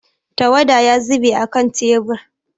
Tawada ya zube a kan tebur.